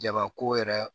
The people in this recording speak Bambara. Jabako yɛrɛ